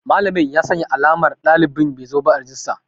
Malamin ya sanya alamar ɗalibin bezoba a cikin rajistar.